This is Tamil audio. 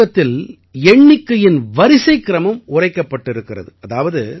இந்த சுலோகத்தில் எண்ணிக்கையின் வரிசைக்கிரமம் உரைக்கப்பட்டிருக்கிறாது